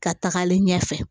Ka tagalen ɲɛfɛ